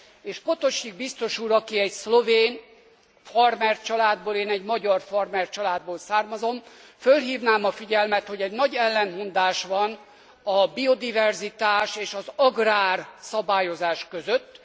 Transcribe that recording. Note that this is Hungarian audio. És Potočnik biztos úr, aki egy szlovén farmercsaládból származik én egy magyar farmercsaládból származom fölhívnám a figyelmet, hogy egy nagy ellentmondás van a biodiverzitás és az agrárszabályozás között.